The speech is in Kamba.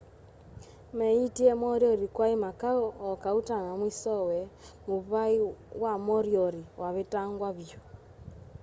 meeyitie moriori kwai makau o kauta na mwisowe muvai wa moriori wavetangwa vyu